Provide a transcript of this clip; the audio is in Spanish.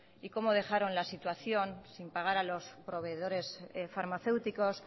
y como dejaron la situación sin pagar a los proveedores farmacéuticos